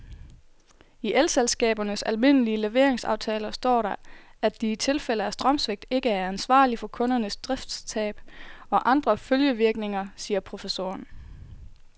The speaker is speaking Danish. I elselskabernes almindelige leveringsaftaler står der, at de i tilfælde af strømsvigt ikke er ansvarlig for kundernes driftstab og andre følgevirkninger, siger professoren.